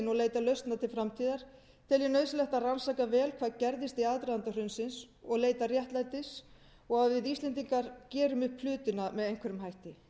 og leita lausna til framtíðar tel ég nauðsynlegt að rannsaka vel hvað gerðist í aðdraganda hrunsins og leita réttlætis og að við íslendingar gerum upp hlutina með einhverjum hætti